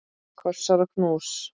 Kossar og knús.